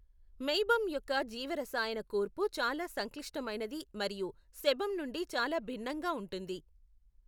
Meibum యొక్క జీవరసాయన కూర్పు చాలా సంక్లిష్టమైనది మరియు సెబమ్ నుండి చాలా భిన్నంగా ఉంటుంది.